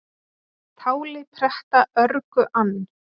Táli pretta örgu ann,